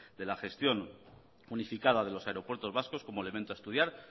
de la gestión unificada de los aeropuertos vascos como a elemento a estudiar